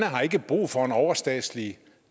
har ikke brug for en overstatslig